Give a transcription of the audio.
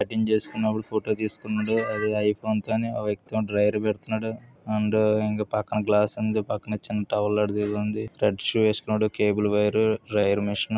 cutting చేసుకున్నప్పుడు photo తీసుకున్నాడు ఆ వ్యక్తి ఏమో డ్రైయ్యర్ పెడుతున్నాడు అండ్ పక్కన గ్లాస్ ఉంది పక్కన రెడ్ వేసుకున్నాడు కేబుల్--